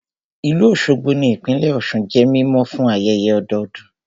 Ìlú Òṣogbo ní ìpínlẹ̀ Ọ̀sun jẹ́ mímọ̀ fún ayẹyẹ ọdọdún